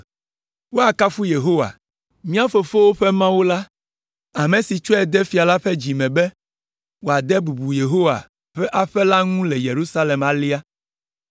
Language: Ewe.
Woakafu Yehowa, mía fofowo ƒe Mawu la, ame si tsɔe de fia la ƒe dzi me be wòade bubu Yehowa ƒe aƒe la ŋu le Yerusalem alea,